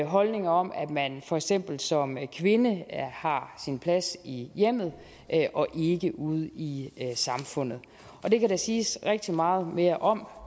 holdninger om at man for eksempel som kvinde har sin plads i hjemmet og ikke ude i samfundet det kan der siges rigtig meget mere om